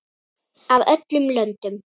Af öllum löndum.